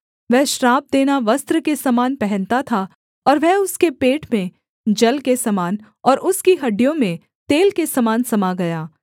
वह श्राप देना वस्त्र के समान पहनता था और वह उसके पेट में जल के समान और उसकी हड्डियों में तेल के समान समा गया